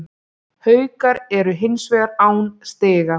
Haukar eru hins vegar án stiga